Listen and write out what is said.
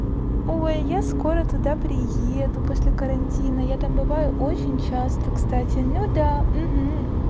о я скоро туда приеду после карантина я там бываю очень часто кстати ну да